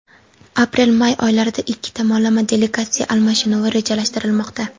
Aprel-may oylarida ikki tomonlama delegatsiya almashinuvi rejalashtirilmoqda.